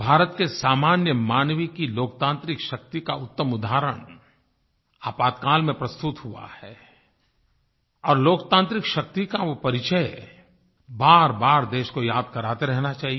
भारत के सामान्य मानव की लोकतान्त्रिक शक्ति का उत्तम उदाहरण आपातकाल में प्रस्तुत हुआ है और लोकतान्त्रिक शक्ति का वो परिचय बारबार देश को याद कराते रहना चाहिए